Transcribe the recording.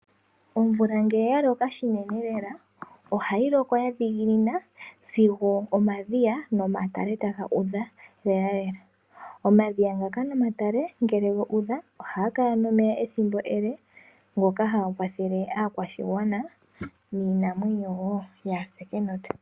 Omvula ngele ya loka shinene lela ohayi loko ya dhiginina sigo omadhiya nomatale taga udha lela lela. Omadhiya ngaka nomatale ngele gu udha ohaga kala nomeya ethimbo ele. Ngoka haga kwathele aakwashigwana niinamwenyo wo yaase kenota .